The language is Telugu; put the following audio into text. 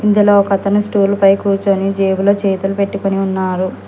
ఇందులో ఒక అతను స్టూల్ పై కూర్చొని జేబులో చేతులు పెట్టుకొని ఉన్నారు.